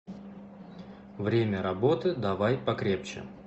время работы давай покрепче